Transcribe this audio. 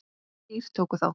Þrír tóku þátt.